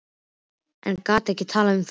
En gat ekki talað um það.